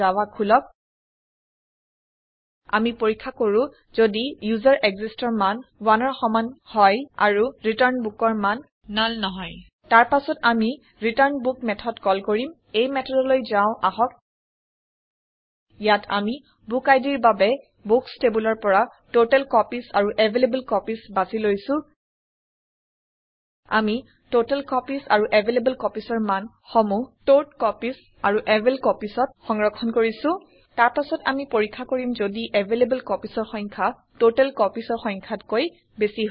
Java খোলক আমি পৰীক্ষা কৰো যদি userExistsৰ মান 1ৰ সমান হয় আৰু return bookৰ মান নাল নহয় তাৰ পাছত আমি ৰিটাৰ্ণবুক মেঠদ কল কৰিম এই মেঠদলৈ যাও আহক ইয়াত আমি বুক idৰ বাবে বুক্স টেব্লৰ পৰা টটেলকপিজ আৰু এভেইলেবলকপিজ বাছি লৈছো আমি টটেলকপিজ আৰু availablecopiesৰ মান সমূহ টটকপিজ আৰু availcopiesত সংৰক্ষণ কৰিছো তাৰ পাছত আমি পৰীক্ষা কৰিম যদি এভেইলেবল copiesৰ সংখ্যা totalcopiesৰ সংখ্যাত কৈ বেছি হয়